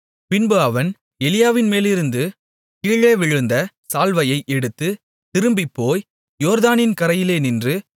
பின்பு அவன் எலியாவின்மேலிருந்து கீழே விழுந்த சால்வையை எடுத்துத் திரும்பிப்போய் யோர்தானின் கரையிலே நின்று